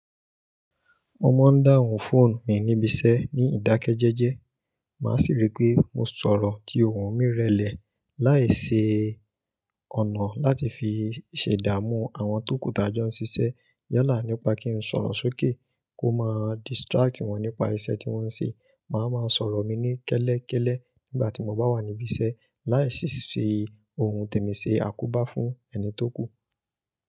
Mo máa ń dáhùn fóònù mi níbi iṣẹ́ ní ìdákẹ́jẹ́jẹ́, màá sì rí pé mo sọ̀rọ̀ tí ohùn mi rẹlẹ̀. Láì ṣe ọ̀nà láti fi ṣẹ̀dá mú àwọn tòkù tàjọ́ ń ṣiṣẹ́ yọlá nípa kí ń sọ̀rọ̀ sókè kó máa distract wọ́n nípa iṣẹ́ tí wọ́n ń ṣe. Màá má sọ̀rọ̀ mi ní kẹ́lẹ́kẹ́lẹ́ nígbà tí mo bá wà níbi iṣẹ́ láì sì ṣe ohun tèmi ṣe àkóbá fún ẹni tó kù.